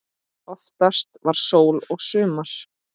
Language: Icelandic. Oftast var sól og sumar.